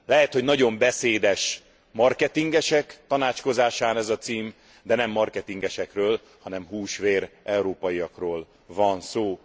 Lehet, hogy nagyon beszédes marketingesek tanácskozásán ez a cím, de nem marketingesekről, hanem hús vér európaiakról van szó.